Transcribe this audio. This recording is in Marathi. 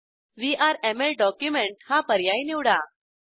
व्हीआरएमएल डॉक्युमेंट हा पर्याय निवडा